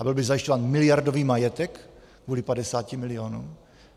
A byl by zajišťován miliardový majetek kvůli 50 milionům?